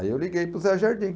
Aí eu liguei para o Zé Jardim.